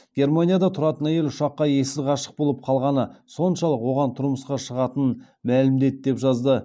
германияда тұратын әйел ұшаққа ессіз ғашық болып қалғаны соншалық оған тұрмысқа шығатынын мәлімдеді деп жазады